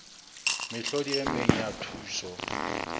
mehlodi e meng ya thuso